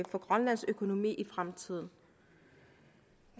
for grønlands økonomi i fremtiden